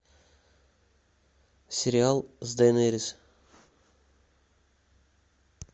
сериал с дейнерис